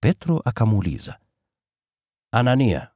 Petro akamuuliza, “Anania,